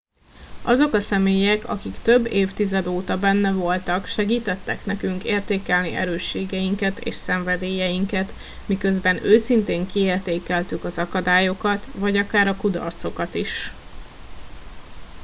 azok a személyek akik több évtized óta benne voltak segítettek nekünk értékelni erősségeinket és szenvedélyeinket miközben őszintén kiértékeltük az akadályokat vagy akár a kudarcokat is